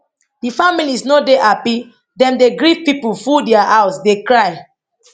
di families no dey happy dem dey grieve pipo full dia house dey cry